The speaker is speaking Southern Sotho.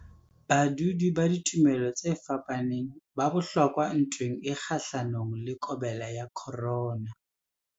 Badudi ba ditumelo tse fapaneng ba bohlokwa ntweng e kgahlanong le COVID-19.